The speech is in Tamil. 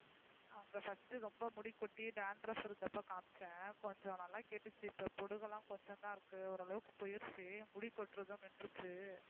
அங்க first உ ரொம்ப முடி கொட்டி dandruff இருந்தப்ப காமிச்சேன் கொஞ்சம் நல்லா கேட்டுச்சு இப்ப பொடுகெல்லாம் கொஞ்சம் தான் இருக்கு ஓரளவுக்கு போயிருச்சு முடி கொட்றதும் நின்னுருச்சு